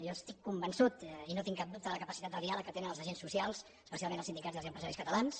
jo estic convençut i no tinc cap dubte de la capacitat de diàleg que tenen els agents socials especialment els sindicats i els empresaris catalans